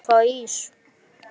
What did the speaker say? Má ég fá ís?